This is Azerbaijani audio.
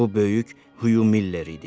Bu böyük Huyu Miller idi.